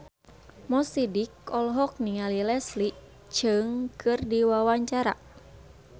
Mo Sidik olohok ningali Leslie Cheung keur diwawancara